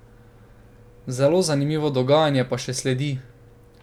Zelo zanimivo dogajanje pa še sledi ...